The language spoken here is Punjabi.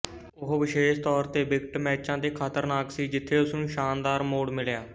ਉਹ ਵਿਸ਼ੇਸ਼ ਤੌਰ ਤੇ ਵਿਕਟ ਮੈਚਾਂ ਤੇ ਖ਼ਤਰਨਾਕ ਸੀ ਜਿੱਥੇ ਉਸ ਨੂੰ ਸ਼ਾਨਦਾਰ ਮੋੜ ਮਿਲਿਆ